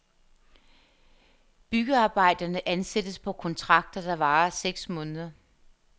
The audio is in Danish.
Byggearbejderne ansættes på kontrakter, der varer seks måneder.